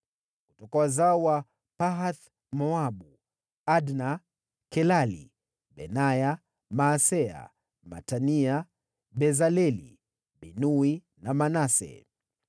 Kutoka wazao wa Pahath-Moabu: Adna, Kelali, Benaya, Maaseya, Matania, Bezaleli, Binui na Manase.